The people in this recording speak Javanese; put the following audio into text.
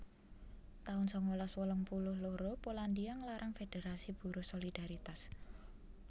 taun sangalas wolung puluh loro Polandia nglarang federasi buruh Solidaritas